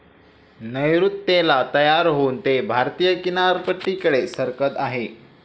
नैऋत्येला तयार होऊन ते भारतीय किनारपट्टीकडे सरकत आहे.